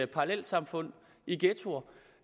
parallelsamfund i ghettoer